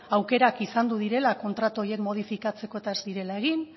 aukerak izandu direla kontratu horiek modifikatzeko eta ez zirela egin